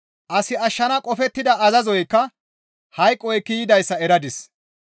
As ashshana qofettida azazoykka hayqo ekki yidayssa eradis.